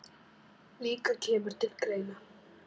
líka kemur til greina.